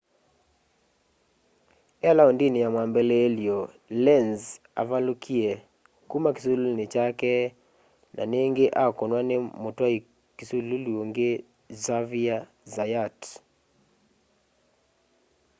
e laũndini ya mwambililyo lenz avalũkie kuma kisululuni kyake na ningi akũnwa ni mutwai kisululu ungi xavier zayat